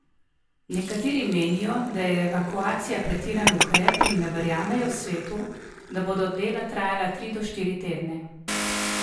Nekateri menijo, da je evakuacija pretiran ukrep in ne verjamejo svetu, da bodo dela trajala tri do štiri tedne.